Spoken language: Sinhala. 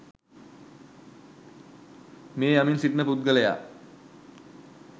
මිය යමින් සිටින පුද්ගලයා